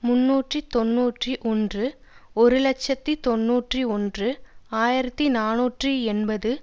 முன்னூற்று தொன்னூற்றி ஒன்று ஒரு இலட்சத்தி தொன்னூற்றி ஒன்று ஆயிரத்தி நாநூற்று எண்பது